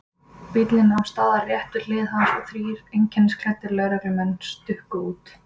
Bíllinn nam staðar rétt við hlið hans og þrír einkennisklæddir lögreglumenn stukku út.